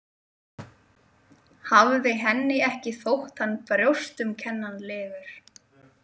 Hafði henni ekki þótt hann brjóstumkennanlegur?